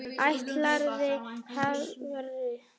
Ætlarðu hvert?